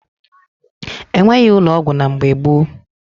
E nweghi ụlọ ọgwụ na mgbe gboo